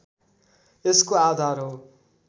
यसको आधार हो